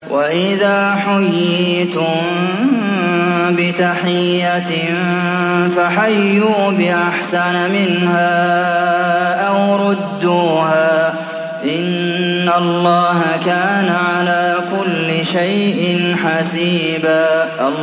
وَإِذَا حُيِّيتُم بِتَحِيَّةٍ فَحَيُّوا بِأَحْسَنَ مِنْهَا أَوْ رُدُّوهَا ۗ إِنَّ اللَّهَ كَانَ عَلَىٰ كُلِّ شَيْءٍ حَسِيبًا